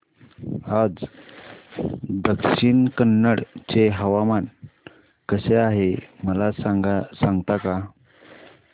आज दक्षिण कन्नड चे हवामान कसे आहे मला सांगता का